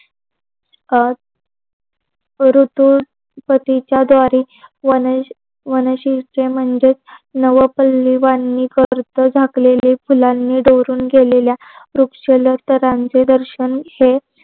शरद ऋतू पतीच्या दारी म्हणजेच फुलांनी बहरून गेलेल्या वृक्षलचत्रांचे दर्शन हे